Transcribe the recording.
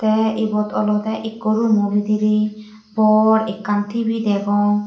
te ibot olode ikko roomo bidire bor ekkan T_V degong.